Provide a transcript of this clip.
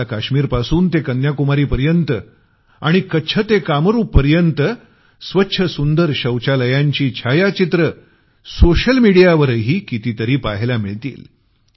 आपल्याला काश्मीरपासून ते कन्याकुमारी पर्यंत आणि कच्छ ते कामरूपपर्यंत स्वच्छ सुंदर शौचालयांची छायाचित्रं सोशल मिडियावरही कितीतरी पाहायला मिळतील